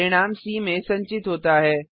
परिणाम सी में संचित होता है